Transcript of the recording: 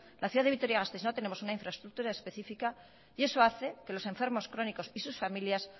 la ciudad de vitoria gasteiz no tenemos una infraestructura específica y eso hace que los enfermos crónicos y sus familias